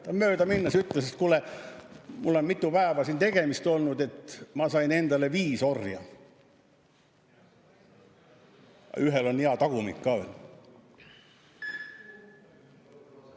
Ta möödaminnes ütles, et kuule, mul on mitu päeva siin tegemist olnud, ma sain endale viis orja, ühel on hea tagumik ka veel.